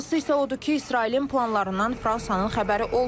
Maraqlısı isə odur ki, İsrailin planlarından Fransanın xəbəri olmayıb.